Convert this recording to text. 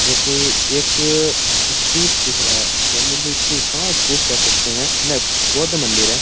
जो की एक स्तूप दिख रहा है जैन मंदिर स्तूप हाँ स्तूप कह सकते है नहीं बौद्ध मंदिर है।